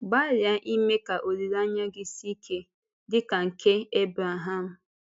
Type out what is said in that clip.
Gbalịa ime ka olileanya gị sie ike dị ka nke Ebrehàm.